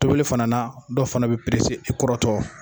Tobili fana na ,dɔw fana bɛ perese i bi kɔrɔtɔ.